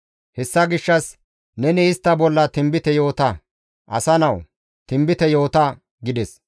Hessa gishshas neni istta bolla tinbite yoota! Asa nawu! Tinbite yoota» gides.